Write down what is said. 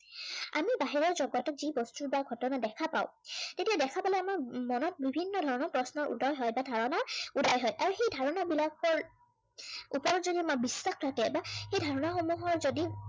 আমি বাহিৰৰ জগতত যি বস্তু বা ঘটনা দেখা পাও, এতিয়া দেখা পালে আমাৰ মনত বিভিন্ন ধৰণৰ প্ৰশ্নৰ উদয় হয় বা ধৰনাৰ উদয় হয়। আৰু সেই ধাৰনা বিলাকৰ, ওপৰত যদি আমাৰ বিশ্বাস থাকে বা সেই ধাৰনা সমূহৰ যদি